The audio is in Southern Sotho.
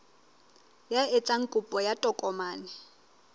ya etsang kopo ya tokomane